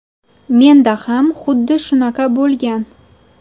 Menda ham xuddi shunaqa bo‘lgan.